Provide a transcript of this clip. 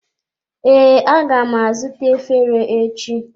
Ee, aga m azụta efere echi.